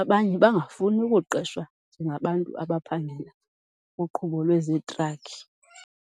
abanye bangafuni ukuqeshwa njengabantu abaphangela kuqhubo lwezetrakhi.